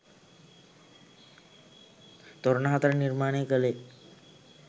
තොරණ හතර නිර්මාණය කෙළේ